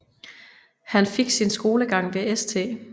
Han fik sin skolegang ved St